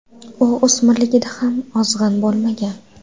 U o‘smirligida ham ozg‘in bo‘lmagan.